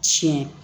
Tiɲɛ